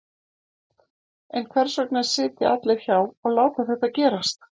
En hvers vegna sitja allir hjá og láta þetta gerast?